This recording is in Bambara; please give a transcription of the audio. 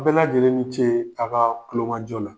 Bɛɛ lajɛlen ni cee a' kaa kulomajɔ la!